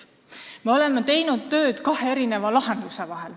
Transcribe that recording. Me oleme teinud tööd kahe lahendusega.